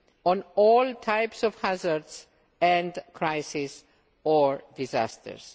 on all types of hazards and crises or disasters.